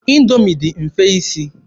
Indoomi dị mfe isi.